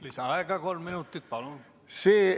Lisaaega kolm minutit, palun!